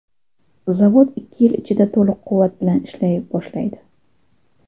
Zavod ikki yil ichida to‘liq quvvat bilan ishlay boshlaydi.